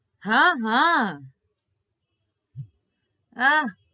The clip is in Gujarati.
હા હા આ